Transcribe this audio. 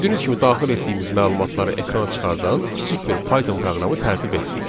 Gördüyünüz kimi daxil etdiyimiz məlumatları ekrana çıxardan kiçik bir Python proqramı tərtib etdik.